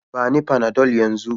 Bani Panadol yanzu